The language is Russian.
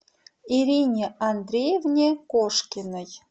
ирине андреевне кошкиной